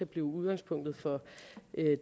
blive udgangspunktet for